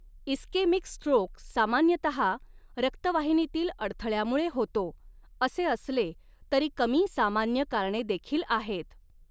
Ischaemic stroke सामान्यतहा रक्तवाहिनीतील अडथळ्यामुळे होतो, असे असले तरी कमी सामान्य कारणे देखील आहेत.